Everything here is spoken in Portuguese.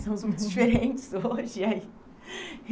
Somos muito diferentes hoje e aí.